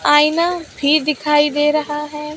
आईना भी दिखाई दे रहा है।